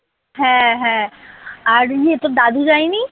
হ্যাঁ হ্যাঁ আর ইয়ে তোর দাদু যায় নি?